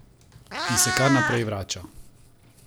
In se kar naprej vrača ...